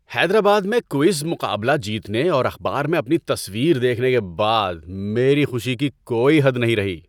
حیدرآباد میں کوئز مقابلہ جیتنے اور اخبار میں اپنی تصویر دیکھنے کے بعد میری خوشی کی کوئی حد نہیں رہی۔